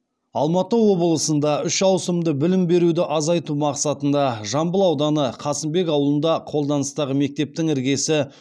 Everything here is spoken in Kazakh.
алматы облысында үш ауысымды білім беруді азайту мақсатында жамбыл ауданы қасымбек ауылында қолданыстағы мектептің іргесі